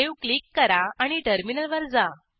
save click करा आणि टर्मिनलवर जा